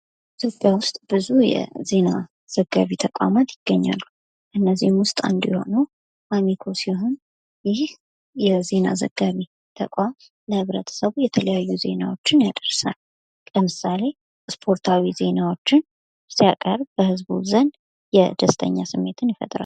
የኢትዮጵያ ውስጥ ብዙ የዜና ዘጋቢ ተቋማት ይገኛሉ። ከእነዚህ ውስጥ አንዱ የሆነው አሚኮ ሲሆን ይህ የዜና ዘጋቢ ተቋም ለህብረተሰቡ የተለያዩ ዜናዎችን ያደርሳል። ለምሳሌ ስፖርታዊ ዜናዎችን ሲያቀረበ በህዝቡ ዘንድ የደስተኛ ስሜትን ይፈጥራል።